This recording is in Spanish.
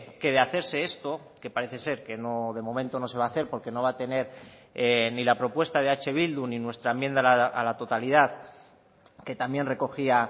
que de hacerse esto que parece ser que no de momento no se va a hacer porque no va a tener ni la propuesta de eh bildu ni nuestra enmienda a la totalidad que también recogía